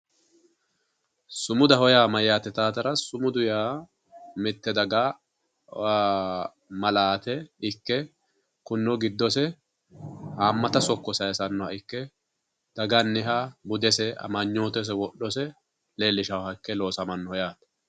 Sumudaho yaa mayate yittanotera mite daga malaate ikke giddose hamatta sokko saysanoha ikke daganiha budese amanyotese wodhose leellishanoha ikke loossamano yaate.